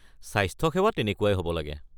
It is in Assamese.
স্বাস্থ্যসেৱা তেনেকুৱাই হ’ব লাগে।